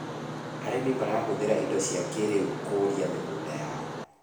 arĩmi marahũthira indo cia kĩiriu kũria mĩgũnda yao